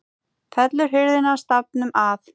Fellur hurðin stafnum að.